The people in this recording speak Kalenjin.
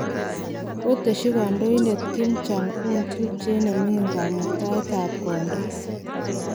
kotesyi kandoindet Kim Jong-un tupchet ne ming'in kamuktaet ab kondo